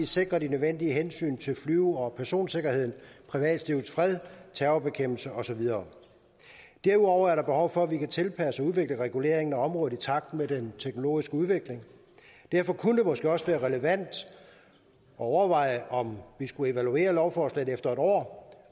sikrer de nødvendige hensyn til flyve og personsikkerheden privatlivets fred terrorbekæmpelse og så videre derudover er der behov for at vi kan tilpasse og udvikle reguleringen af området i takt med den teknologiske udvikling derfor kunne det måske også være relevant at overveje om vi skulle evaluere lovforslaget efter et år